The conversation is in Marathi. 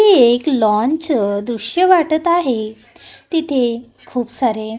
हे एक लॉन चं दृश्य वाटत आहे तिथे खूप सारे --